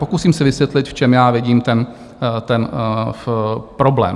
Pokusím se vysvětlit, v čem já vidím ten problém.